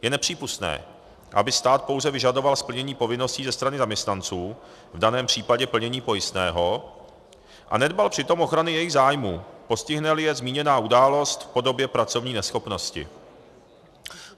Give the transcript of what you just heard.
Je nepřípustné, aby stát pouze vyžadoval splnění povinností ze strany zaměstnanců, v daném případě plnění pojistného, a nedbal přitom ochrany jejich zájmů, postihne-li je zmíněná událost v podobě pracovní neschopnosti.